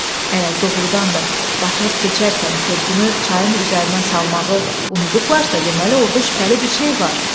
Əgər doğurdan da qatar keçərkən körpünü çayın üzərinə salmağı unudublarsa, deməli orda şübhəli bir şey var.